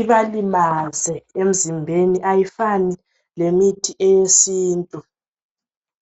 ibalimaze emzimbeni ayifani lemithi yesintu.